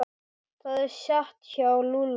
Það er satt hjá Lúlla.